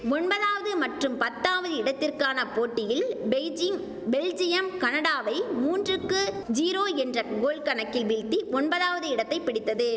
ஒம்பதாவது மற்றும் பத்தாவது இடத்திற்கான போட்டியில் பெய்ஜிங் பெல்ஜியம் கனடாவை மூன்றுக்கு ஜீரோ என்ற கோல் கணக்கில் வீழ்த்தி ஒம்பதாவது இடத்தை பிடித்தது